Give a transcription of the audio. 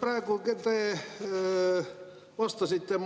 Praegu te vastasite